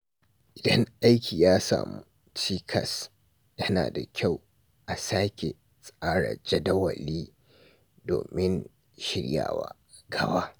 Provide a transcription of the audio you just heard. Idan aiki ya samu cikas, yana da kyau a sake tsara jadawali domin shiryawa gaba.